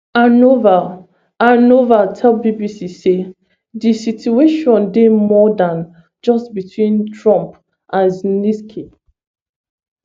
anova anova tell bbc say di situation dey more dan just between trump and zelensky